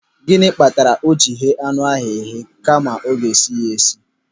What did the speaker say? Gịnị kpatara o ji eghe anụ ahụ eghe kama ọ ga-esi ya esi?